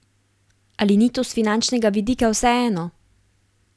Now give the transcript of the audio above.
Ali ni to s finančnega vidika vseeno?